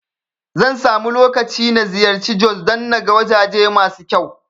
Zan samu lokaci na ziyarci Jos don naga wajaje masu kyau